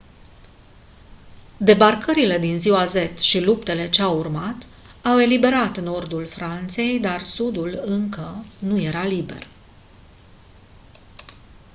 debarcările din ziua z și luptele ce au urmat au eliberat nordul franței dar sudul încă nu era liber